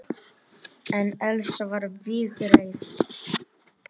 En Elsa var vígreif.